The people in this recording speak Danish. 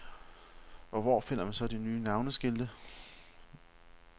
Og hvor finder man så de nye navenskilte?